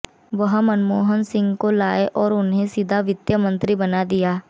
वह मनमोहन सिंह को लाए और उन्हें सीधे वित्तमंत्री बना दिया